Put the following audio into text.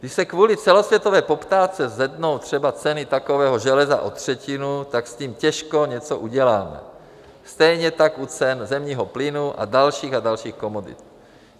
Když se kvůli celosvětové poptávce zvednou třeba ceny takového železa o třetinu, tak s tím těžko něco uděláme, stejně tak u cen zemního plynu a dalších a dalších komodit.